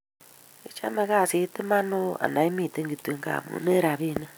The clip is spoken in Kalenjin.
Ichame kaasit iman ooh ana imiten kityok ngamun en rapinik